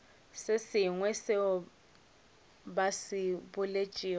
sengwe seo ba se boletšego